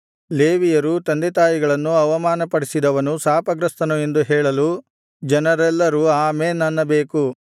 ಲೇವಿಯರು ತಂದೆತಾಯಿಗಳನ್ನು ಅವಮಾನಪಡಿಸಿದವನು ಶಾಪಗ್ರಸ್ತನು ಎಂದು ಹೇಳಲು ಜನರೆಲ್ಲರೂ ಆಮೆನ್ ಅನ್ನಬೇಕು